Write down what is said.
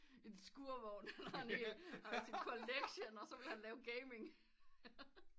En skurvon hvor i han har sin collection og så ville han lave gaming